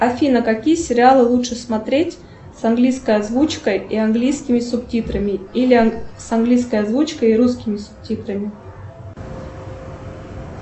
афина какие сериалы лучше смотреть с английской озвучкой и английскими субтитрами или английской озвучкой и русскими субтитрами